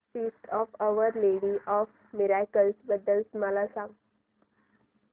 feast of Our Lady of Miracles बद्दल मला सांगा